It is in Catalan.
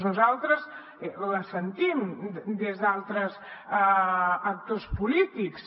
nosaltres la sentim des d’altres actors polítics